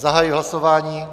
Zahajuji hlasování.